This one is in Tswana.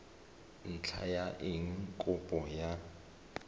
ntlha ya eng kopo ya